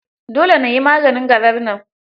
Dole na yi maganin garar nan.